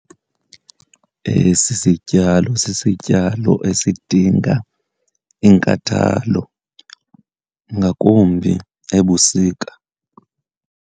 Esi sityalo sisityalo esidinga inkathalo, ngakumbi ebusika.